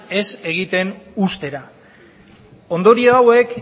ez egiten uztera ondorio hauek